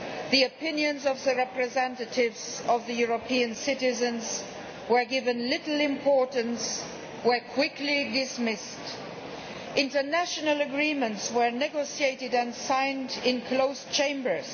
The opinions of the representatives of EU citizens were given little importance and were quickly dismissed. International agreements were negotiated and signed in closed chambers.